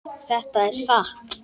Þetta er satt!